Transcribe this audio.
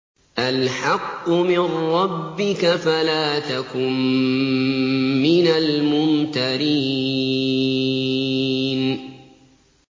الْحَقُّ مِن رَّبِّكَ فَلَا تَكُن مِّنَ الْمُمْتَرِينَ